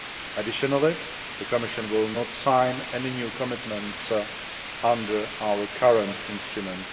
Additionally, the Commission will not sign any new commitments under our current IPA I instrument.